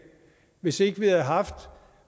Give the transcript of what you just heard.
hvis ikke vi havde haft